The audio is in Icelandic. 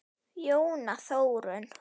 Jóna Þórunn.